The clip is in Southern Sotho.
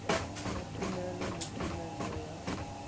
sa thomelo le thomello ya